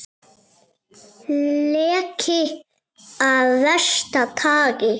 Leki af versta tagi